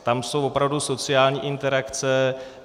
Tam jsou opravdu sociální interakce.